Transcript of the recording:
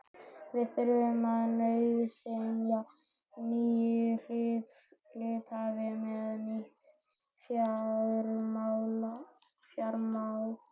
Við þurftum nauðsynlega nýja hluthafa með nýtt fjármagn.